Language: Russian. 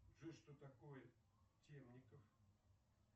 джой что такое темников